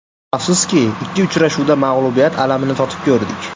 Afsuski, ikki uchrashuvda mag‘lubiyat alamini totib ko‘rdik.